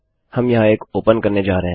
हम यहाँ एक ओपन करने जा रहे हैं